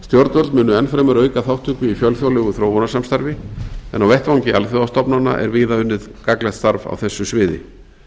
stjórnvöld munu enn fremur auka þátttöku í fjölþjóðlegu þróunarsamstarfi en á vettvangi alþjóðastofnana er víða unnið gagnlegt starf á þessu sviði